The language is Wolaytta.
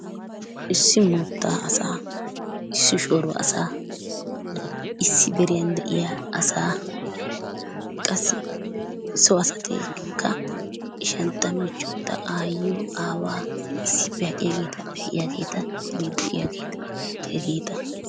Issi moottaa asaa, issi shooro asaa, issi deriyan de"iya asaa, qassi so asatikka ishantta, michchontta, aayiyoo, aawaa, issippe aqiyaageeta, pe"iyaageetanne de"iyaageeta hegeeta.